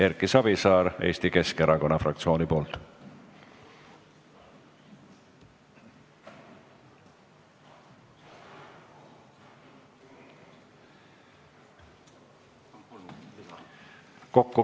Erki Savisaar Eesti Keskerakonna fraktsiooni nimel.